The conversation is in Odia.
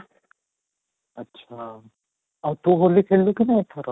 ଆଚ୍ଛା ଆଉ ତୁ ହୋଲି ଖେଳିଲୁ କି ନାଇଁ ଏଥର?